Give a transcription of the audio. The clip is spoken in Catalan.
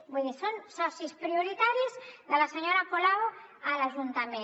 vull dir són socis prioritaris de la senyora colau a l’ajuntament